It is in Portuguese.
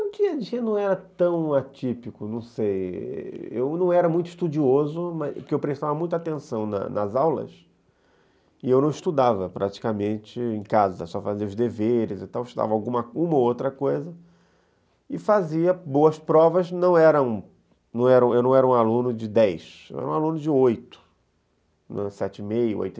O dia a dia não era tão atípico, não sei, eu não era muito estudioso, porque eu prestava muita atenção nas nas aulas e eu não estudava praticamente em casa, só fazia os deveres e tal, estudava uma ou outra coisa e fazia boas provas, eu não não era não era um aluno de dez, eu era um aluno de oito, sete e meio, oito,